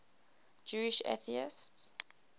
jewish atheists